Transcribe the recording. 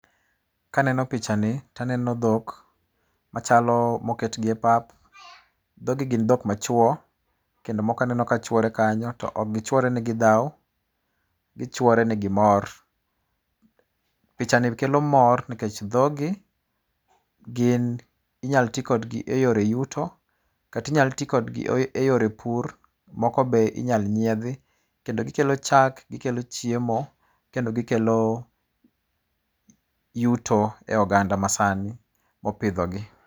Kaneno pichani to aneno dhok, machalo moketgi e pap. Dhoggi gin dhok ma chwo, kendo moko anano ka chwore kanyo, to ok gi chwore ni gidhao, gichwore ni gimor. Pichani kelo mor, nikech dhoggi gin, inyalo ti kodgi e yore yuto, kata inyalo ti kodgi e yore pur, moko be inyalo nyiedhi, kendo gikelo chak, gikelo chiemo kendo gikelo yuto e oganda masani mopidho gi.